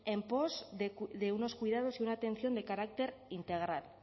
en pos de unos cuidados y una atención de carácter integral